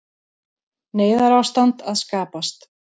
Neyðarástand að skapast